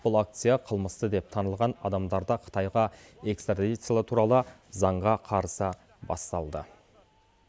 бұл акция қылмысты деп танылған адамдарды қытайға экстрадициялау туралы заңға қарсы басталды